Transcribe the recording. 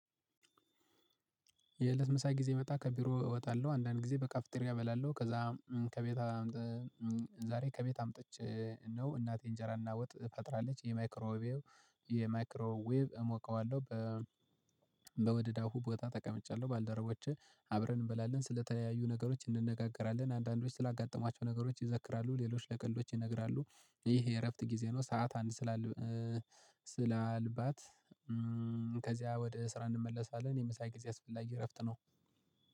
የለትምሳ ጊዜ መጣ ከቢሮ እወጣለሁ አንዳንድ ጊዜ በካፍጥሬ አበላለሁ ከዛ ከቤት ዛሬ ከቤት አምጥቼ ነው። እናቴ እንጀራ እና ወጥ ፈጥራለች የማይክሮ ዌቭ የማይክሮ ዌብ እሞቀዋለሁ። በ በመደዳ ቦታ አሁን ተቀምጫለሁ ባልደረቦቼ አብረን እንበላለን ስለተለያዩ ነገሮች እንነጋገራለን አንዳንዶች ስላጋጠማቸው ነገሮች ይዘክራሉ ሌሎች ለቀልዶች ይነግራሉ። ይሄ የእረፍት ጊዜ ነው። ሰዓት አንድ ስላልባት ከዚያ ወደ ስራ እንመለሳለን። የምሳ ጊዜ አስፈላጊ እረፍት ነው